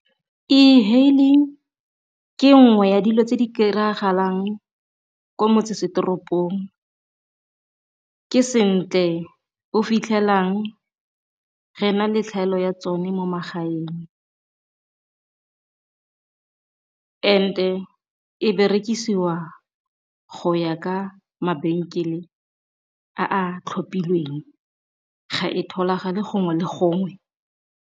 E-haling ke nngwe ya dilo tse di ka kry-agalang kwa motsesetoropong, ke se ntle o fitlhelang re na le tlhaelo ya tsone mo magaeng and-e e berekisiwa go ya ka mabenkele a a tlhophilweng ga e gongwe le gongwe.